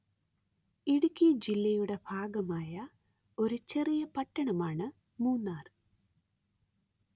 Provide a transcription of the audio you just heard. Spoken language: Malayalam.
ഇടുക്കി ജില്ലയുടെ ഭാഗമായ ഒരു ചെറിയ പട്ടണമാണ് മൂന്നാര്‍